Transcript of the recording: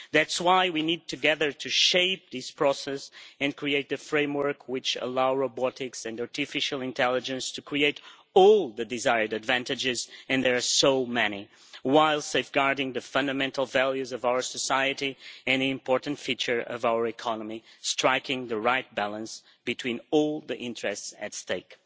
That is why we need together to shape this process and create the framework which allows robotics and artificial intelligence to create all the desired advantages and there are so many while safeguarding the fundamental values of our society and important features of our economy, striking the right balance between all the interests at stake.